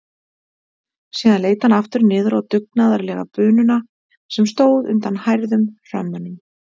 Síðan leit hann aftur niður á dugnaðarlega bununa sem stóð undan hærðum hrömmunum.